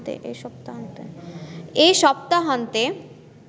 এ সপ্তাহান্তে